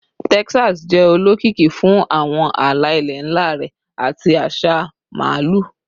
Texas jẹ olokiki fun awọn ala-ilẹ nla rẹ ati aṣa Maalu